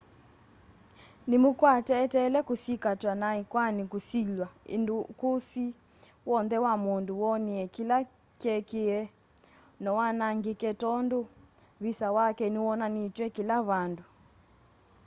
nĩ mũkwate eteele kusikatwa na ĩkwani kusilwa ĩndĩ ũkũsĩ wonthe wa mũndũ wonie kĩla kyekĩkie nowanangĩke tondũ visa wake nĩwonanitw'e kĩla vandũ